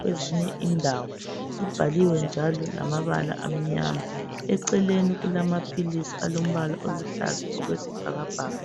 kwezinye indawo. Libhaliwe njalo lamabala amnyama ,eceleni kulamaphilisi alombala oluhlaza okwesibhakabhaka.